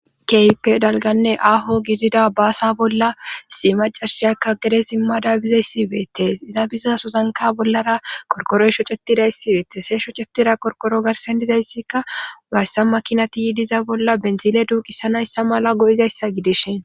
kehippe dalganne aaho gidida baasa bolla si macarshiyakka gede simmada daabiza yssibeettees iza biza sozanka bollara korkoroyshocetidayssibeettes heehsho cetira korkoro garsen dizayssikka bayssa makinati yiidiza bolla benzile duuqisanayssa mala go7izayssa gidishen